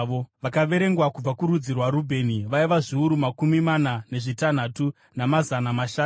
Vakaverengwa kubva kurudzi rwaRubheni vaiva zviuru makumi mana nezvitanhatu, namazana mashanu.